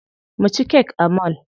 Mu ci kek a mall.